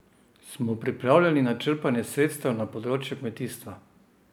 Smo pripravljeni na črpanje sredstev na področju kmetijstva?